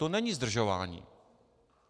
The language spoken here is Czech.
To není zdržování.